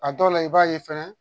A dɔw la i b'a ye fɛnɛ